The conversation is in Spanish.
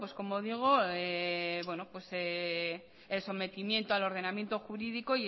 como digo el sometimiento al ordenamiento jurídico